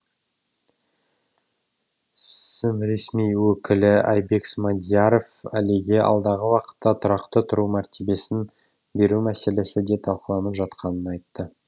сім ресми өкілі айбек смадияров әлиге алдағы уақытта тұрақты тұру мәртебесін беру мәселесі де талқыланып жатқанын айтты